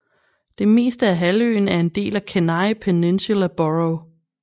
Det meste af halvøen er en del af Kenai Peninsula Borough